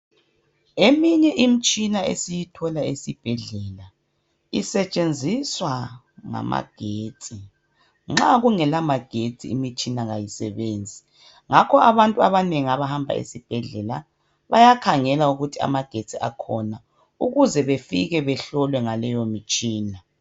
Eminye imtshina esiyithola esibhedlela, isetshenziswa ngamagetsi. Nxa kungelamagetsi imitshina ayisebenzi. Ngakho abantu abanengi abahamba esibhedlela, bayakhangela ukuthi amagetsi akhona, ukuze befike bahlolwe ngaleyo mitshina.